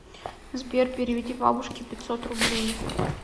сбер переведи бабушке пятьсот рублей